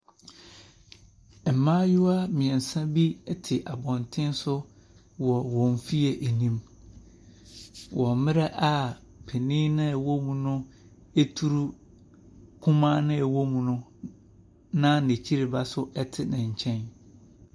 Mmayewa mmiɛnsa bi ɛte wɔn fie anim, wɔ mmerɛ a panin no a ɛwɔ mu no ɛturu kumaa no a ɛwɔ mu no, na n’akyiriba nso ɛwɔ ne nkyɛn.